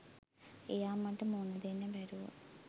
එයා මට මූණ දෙන්න බැරුව